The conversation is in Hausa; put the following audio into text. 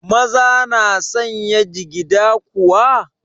Maza na sanya jigida kuwa?